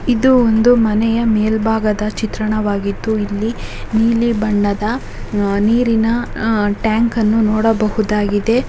ಇದು ಒಂದು ಮನೆಯ ಮೇಲ್ಭಾಗದ ಚಿತ್ರಣವಾಗಿದ್ದು ಇಲ್ಲಿ ನೀಲಿ ಬಣ್ಣದ ನೀರಿನ ಟ್ಯಾಂಕ್ ನ್ನು ನೋಡಬಹುದಾಗಿದೆ.